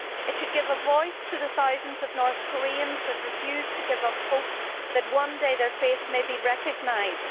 It should give a voice to the thousands of North Koreans who refuse to give up hope that one day their faith may be recognised.